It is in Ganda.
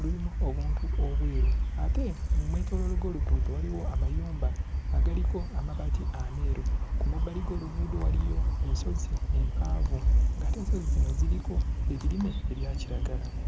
lulimu obuntu obweru, ate mu mwetooloolo gw'oluguudo waliwo amayumba agaliko amabaati ameeru. Ku mabbaali g'oluguudo waliyo ensozi empanvu, ng'ate ensozi zino ziriko ebirime ebya kiragala.